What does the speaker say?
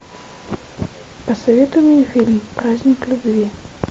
посоветуй мне фильм праздник любви